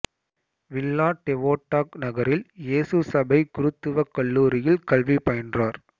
villa Devota நகரில் இயேசு சபைக் குருத்துவக் கல்லூரியில் கல்வி பயின்றார்